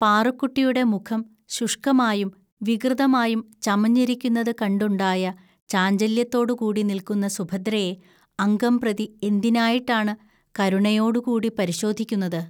പാറുക്കുട്ടിയുടെ മുഖം ശുഷ്‌കമായും വികൃതമായും ചമഞ്ഞിരിക്കുന്നതു കണ്ടുണ്ടായ ചാഞ്ചല്യത്തോടുകൂടി നിൽക്കുന്ന സുഭദ്രയെ അംഗംപ്രതി എന്തിനായിട്ടാണ് കരുണയോടുകൂടി പരിശോധിക്കുന്നത്